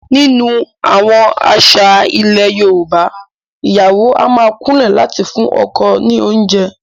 Nínú àwọn àṣà ilẹ̀ Yorùbá, ìyàwó a máa kúnlẹ̀ láti fún ọkọ ní oúnjẹ